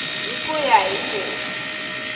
hi ku ya hi leswi